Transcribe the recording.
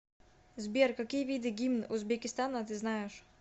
сбер какие виды гимн узбекистана ты знаешь